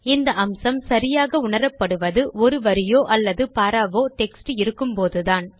இந்த அம்சம் சரியாக உணரப்படுவது ஒரு வரியோ அல்லது பாராவோ டெக்ஸ்ட் இருக்கும்போதுதான்